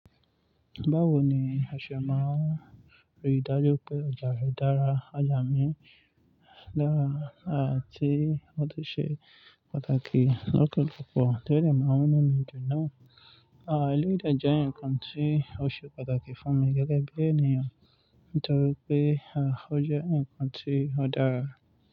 Báwo ni a ṣe máa rí dájú pé ọjà rẹ dára, ojà mí dára àti ó tún ṣe pàtàkì lọ́pọ̀lọpọ̀. Tó dé máa ń mú nù mí dùn náà. Éléyì dè je nkán tí ó ṣe pàtàkì fún mi gẹ́gẹ́ bí ènìyàn. Nítorí pé a ó jẹ́ ǹkan tí ó dára.